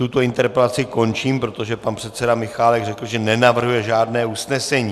Tuto interpelaci končím, protože pan předseda Michálek řekl, že nenavrhuje žádné usnesení.